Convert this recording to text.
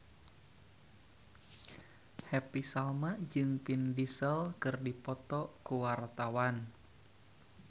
Happy Salma jeung Vin Diesel keur dipoto ku wartawan